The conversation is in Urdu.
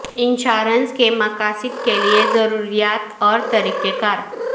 انشورنس کے مقاصد کے لئے ضروریات اور طریقہ کار